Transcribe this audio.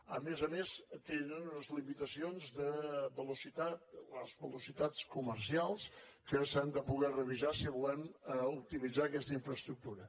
a més a més tenen unes limitacions de velocitat les velocitats comercials que s’han de poder revisar si volem optimitzar aquesta infraestructura